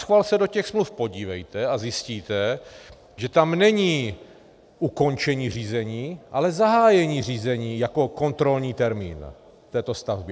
Naschvál se do těch smluv podívejte a zjistíte, že tam není ukončení řízení, ale zahájení řízení jako kontrolní termín této stavby.